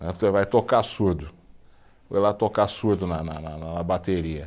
Você vai tocar surdo, vai lá tocar surdo na na na na, na bateria.